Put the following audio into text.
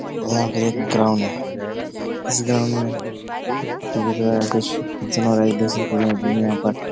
और यहाँ पे एक ग्राउंड है। इस ग्राउंड में क्रिकेट वगैरह कुछ --